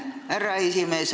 Aitäh, härra esimees!